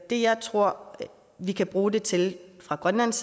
det jeg tror vi kan bruge det til fra grønlands